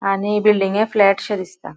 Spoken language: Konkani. आणि बिल्डिंगे फ्लैटशे दिसता.